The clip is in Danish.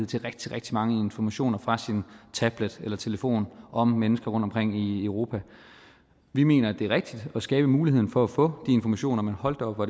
til rigtig rigtig mange informationer fra sin tablet eller telefon om mennesker rundtomkring i europa vi mener at det er rigtigt at skabe muligheden for at få informationer men hold da op hvor